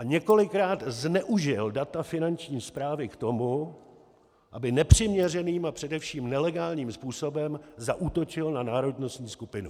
A několikrát zneužil data Finanční správy k tomu, aby nepřiměřeným a především nelegálním způsobem zaútočil na národnostní skupinu.